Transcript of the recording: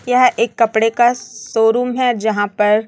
यह एक कपड़े का शोरूम है जहां पर--